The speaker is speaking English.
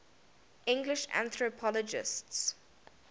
english anthropologists